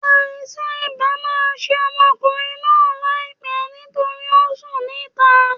Àìsàn ibà ma ṣe ọmọkùnrin náà láìpé nítorí ọ sùn ní ìta